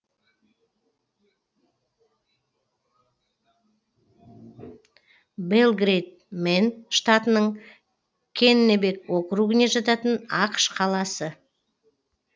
белгрэйд мэн штатының кеннебек округіне жататын ақш қаласы